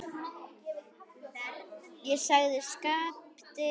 Já, sagði Skapti veikt.